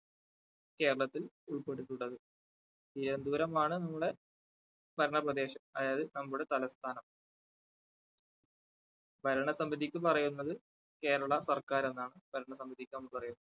കേരളത്തിൽ ഉൾപെട്ടിട്ടുള്ളത്. തിരുവന്തപുരമാണ് നമ്മുടെ ഭരണ പ്രദേശം അതായത് നമ്മുടെ തലസ്ഥാനം ഭരണസമിതിക്ക് പറയുന്നത് കേരള സർക്കാർ എന്നാണ് ഭരണ സമിതിക്ക് നമ്മൾ പറയുന്നത്.